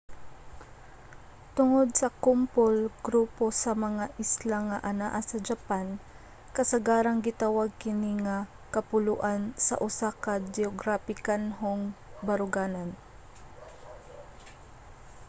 tungod sa kumpol/grupo sa mga isla nga anaa sa japan kasagarang gitawag kini nga kapuluan sa usa ka geograpikanhong baruganan